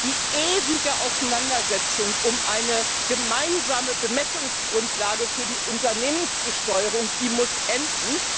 Die ewige Auseinandersetzung um eine gemeinsame Bemessungsgrundlage für die Unternehmensbesteuerung, die muss enden.